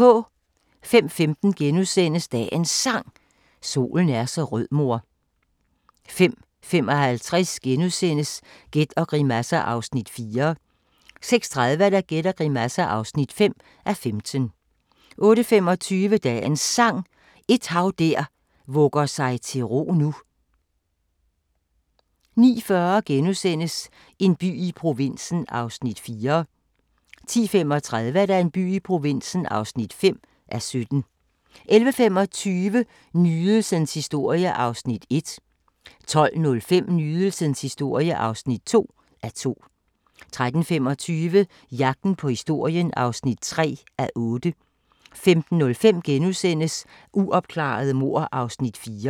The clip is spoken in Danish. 05:15: Dagens Sang: Solen er så rød mor * 05:55: Gæt og grimasser (4:15)* 06:30: Gæt og grimasser (5:15) 08:25: Dagens Sang: Et hav der vugger sig til ro nu 09:40: En by i provinsen (4:17)* 10:35: En by i provinsen (5:17) 11:25: Nydelsens historie (1:2) 12:05: Nydelsens historie (2:2) 13:25: Jagten på historien (3:8) 15:05: Uopklarede mord (4:6)*